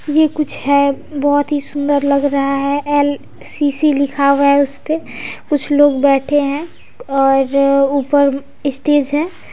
ये कुछ है बहुत ही सुन्दर लग रहा है एल_सी_सी लिखा हुआ है उसपे कुछ लोग बैठे है और ऊपर स्टेज है।